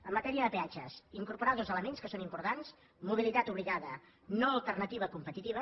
en matèria de peatges incorporar dos elements que són importants mobilitat obligada no alternativa competitiva